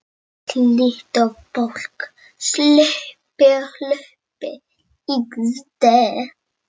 Hlutir og fólk sluppu út og inn án þess að hún fengi nokkuð við ráðið.